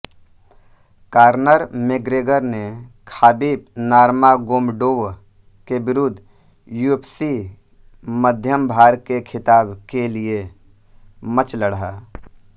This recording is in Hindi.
कॉर्नर मेग्रेगर ने खाबिब नर्मागोमडोव के विरुद्ध यूएफ्सी मध्यमभार के खिताब के लिये मॅच लढा